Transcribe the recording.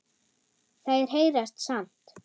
Þær heyrast samt.